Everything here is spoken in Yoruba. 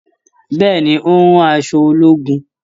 Bẹ́ẹ̀ni, ó ń rán aṣọ ológun.